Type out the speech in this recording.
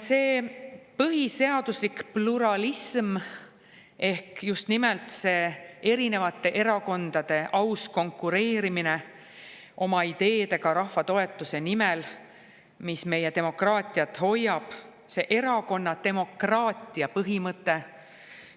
Põhiseadusliku pluralismi kaitseks ehk just nimelt selle kaitseks, et erinevad erakonnad ausalt konkureerivad oma ideedega rahva toetuse nimel, hoides nii meie demokraatiat, selle erakonnademokraatia põhimõtte kaitseks,